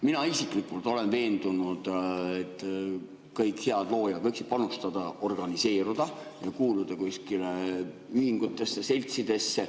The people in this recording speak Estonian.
Mina isiklikult olen veendunud, et kõik head loojad võiksid organiseeruda ja kuuluda ühingutesse, seltsidesse.